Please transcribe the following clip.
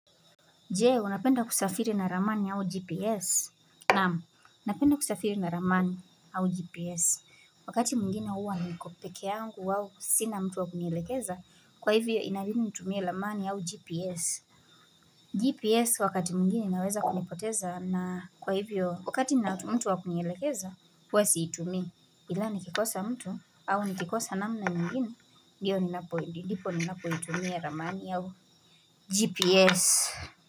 Je, unapenda kusafiri na ramani au GPS? Naamu, napenda kusafiri na ramani au GPS. Wakati mwigine huwa niko peke yangu au sina mtu wakunielekeza, kwa hivyo inalini nitumie ramani au GPS. GPS wakati mwingine inaweza kunipoteza na kwa hivyo, wakati ina ni mtu wakunielekeza, huwa siitumi. Ila ni kikosa mtu au nikikosa namna nyigine. Ndiyo ninapo ndipo ninapo itumia ramani au GPS.